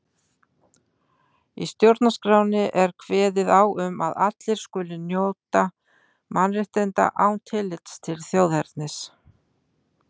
Í stjórnarskránni er kveðið á um að allir skuli njóta mannréttinda án tillits til þjóðernis.